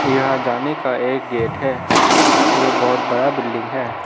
यहां जाने का एक गेट है यह बहुत बड़ा बिल्डिंग है।